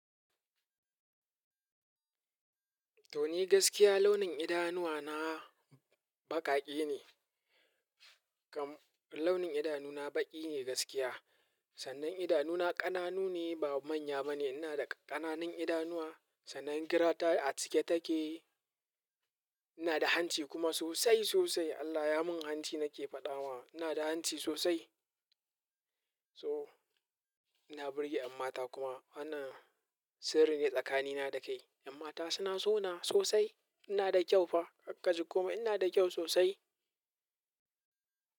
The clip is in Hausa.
To ni gaskiya launin idanuwa na baƙaƙe ne. Kam launin idanu na baƙi ne gaskiya. Sannan idanu na ƙananu ne ba manya ba ne. Ina da ƙananan idanuwa sannan gira ta a cike take. Ina da hanci kuma sosai sosai. Allah ya mun hanci nake faɗawa. Ina da hanci sosai. So ina birge ƴan mata kuma ana sirri ne tsakani na da kai. Ƴan mata suna so na sosai. Ina da kyau fa ka kaji komai ina da kyau sosai.